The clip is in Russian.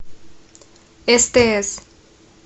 стс